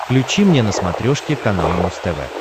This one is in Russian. включи мне на смотрешке канал муз тв